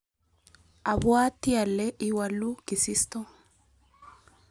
abwatii ale iwaluu kisisto.